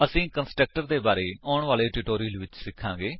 ਅਸੀ ਕੰਸਟਰਕਟਰ ਦੇ ਬਾਰੇ ਵਿੱਚ ਆਉਣ ਵਾਲੇ ਟਿਊਟੋਰਿਅਲਸ ਵਿੱਚ ਸਿਖਾਂਗੇ